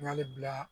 N y'ale bila